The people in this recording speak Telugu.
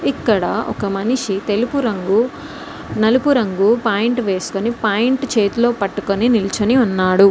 ఇక్కడ ఒక మనిషి తెలుపు రంగు నలుపు రంగు పాయింట్ వేసుకొని పాయింట్ చేతిలో పట్టుకొని నిల్చొని ఉన్నాడు.